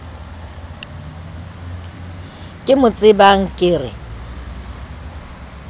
ke mo tsebang ke re